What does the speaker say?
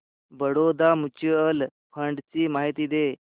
Baroda mutual fund ची माहिती दे